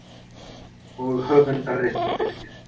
Og höfundarréttur fylgir.